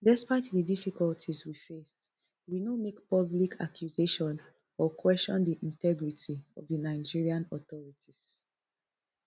despite di difficulties we face we no make public accusations or question di integrity of di nigerian authorities